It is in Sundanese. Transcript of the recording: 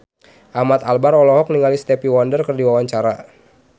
Ahmad Albar olohok ningali Stevie Wonder keur diwawancara